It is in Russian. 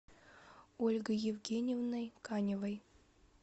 ольгой евгеньевной каневой